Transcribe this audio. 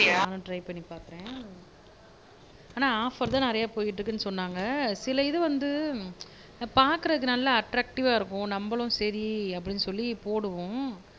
நானும் ட்ரை பண்ணி பாக்குறேன் ஆனா ஆஃப்பர் தான் நிறைய போய்க்கிட்டு இருக்குன்னு சொன்னாங்க சில இது வந்து பாக்குறதுக்கு நல்லா அட்ராக்ட்டிவா இருக்கும் நம்பளும் சரி அப்படின்னு சொல்லி போடுவோம்